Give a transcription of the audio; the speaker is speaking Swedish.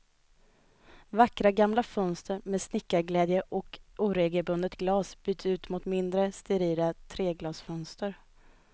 Vackra gamla fönster med snickarglädje och oregelbundet glas byts ut mot mindre, sterila treglasfönster.